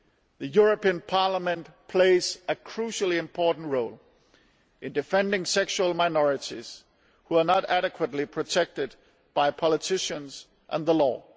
The European Parliament plays a crucially important role in defending sexual minorities who are not adequately protected by politicians and the law.